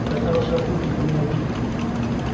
это хорошая публика не обидит